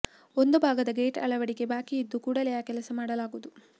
ಒಂದು ಭಾಗದ ಗೇಟ್ ಅಳವಡಿಕೆ ಬಾಕಿ ಇದ್ದು ಕೂಡಲೇ ಆ ಕೆಲಸ ಮಾಡಲಾಗುವುದು